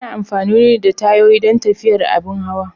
Ana amfani da tayoyi don tafiyar abin hawa.